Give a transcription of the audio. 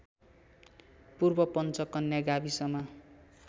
पूर्व पञ्चकन्या गाविसमा